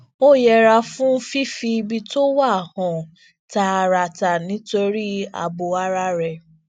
ó yẹra fún ffifi ibi tó wà hàn tààràtà nítorí ààbò ara ẹ